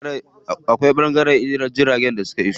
Akwai ɓangaren jiragun da suke iso wa.